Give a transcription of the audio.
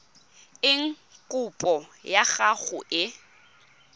eng kopo ya gago e